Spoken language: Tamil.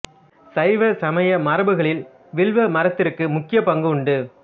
சைவ சமய மரபுகளில் வில்வ மரத்திற்கு முக்கிய பங்கு உண்டு